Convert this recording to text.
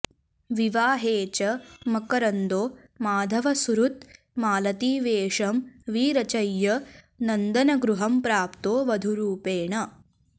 विवाहे च मकरन्दो माधवसुहृद् मालतीवेषं विरचय्य नन्दनगृहं प्राप्तो वधूरूपेण